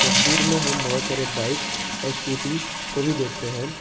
तस्वीर में हम बहोत सारे बाइक और स्कूटी को भी देखते हैं।